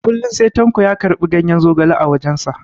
Kullum sai tanko ya karɓi ganyen zogale a wajens.